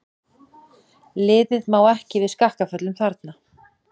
Liðið má ekki við skakkaföllum þarna.